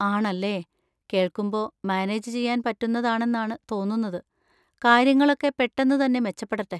ആണല്ലേ, കേൾക്കുമ്പോ മാനേജ് ചെയ്യാൻ പറ്റുന്നതാണെന്നാണ് തോന്നുന്നത്; കാര്യങ്ങളൊക്കെ പെട്ടെന്ന് തന്നെ മെച്ചപ്പെടട്ടെ.